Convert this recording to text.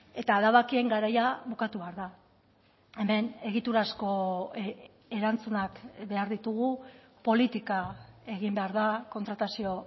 eta adabakien garaia bukatu behar da hemen egiturazko erantzunak behar ditugu politika egin behar da kontratazio